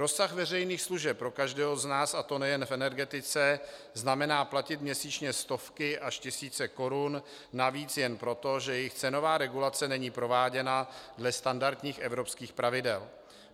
Rozsah veřejných služeb pro každého z nás, a to nejen v energetice, znamená platit měsíčně stovky až tisíce korun navíc jen proto, že jejich cenová regulace není prováděna dle standardních evropských pravidel.